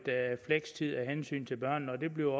flekstid af hensyn til børnene og det bliver